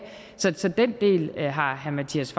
så den del har herre mattias